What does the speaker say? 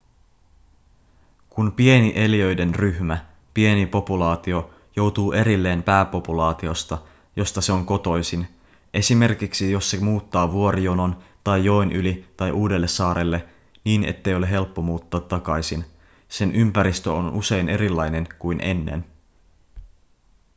kun pieni eliöiden ryhmä pieni populaatio joutuu erilleen pääpopulaatiosta josta se on kotoisin esimerkiksi jos se muuttaa vuorijonon tai joen yli tai uudelle saarelle niin ettei ole helppo muuttaa takaisin sen ympäristö on usein erilainen kuin ennen